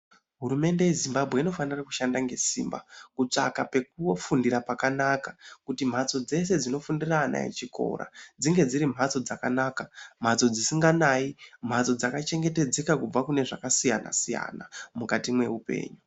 Hurumende yeZimbabwe inofanira kushanda ngesimba kutsvaka pekufundira pakanaka kuti mhatso dzese dzinofundira ana echikora dzinge dziri mhatso dzakanaka, mhatso dzisinganayi mhatso dzakachengetedzeka kubva kunezvakasiyana-siyana mukati meupenyu.